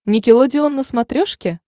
никелодеон на смотрешке